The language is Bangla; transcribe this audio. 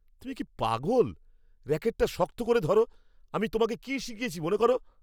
তুমি কি পাগল! র‍্যাকেটটা শক্ত করে ধরো। আমি তোমাকে কি শিখিয়েছি মনে করো।